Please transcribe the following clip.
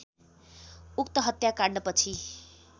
उक्त हत्याकाण्डपछि